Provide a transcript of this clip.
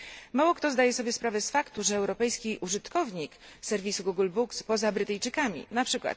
Mało kto zdaje sobie sprawę z faktu, że europejski użytkownik serwisu Google Books poza Brytyjczykami, np.